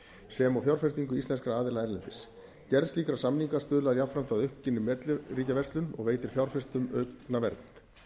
sem og fjárfestingu íslenskra aðila erlendis gerð slíkra samninga stuðlar jafnframt að aukinni milliríkjaverslun og veitir fjárfestum aukna vernd